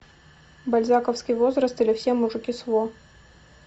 бальзаковский возраст или все мужики сво